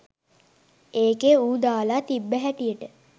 ඒකෙ ඌ දාල තිබ්බ හැටියට